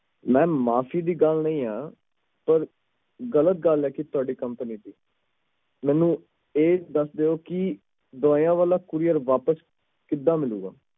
ma'am ਮਾਫੀ ਦੀ ਗੱਲ ਨਹੀਂ ਆ ਇਹ ਗ਼ਲਤ ਗੱਲ ਹੈ ਤੁਹਾਡੀ company ਦੀ ਮੈਨੂੰ ਇਹ ਦੱਸ ਦਿਓ ਕਿ ਦਵਾਈਆਂ ਵਾਲਾ courier ਵਾਪਸ ਕਿਵੇਂ ਮਿਲੇਗਾ